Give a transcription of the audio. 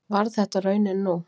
Varð þetta raunin nú